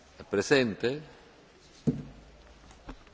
Domnule președinte, numele meu este Luhan, nu Luman.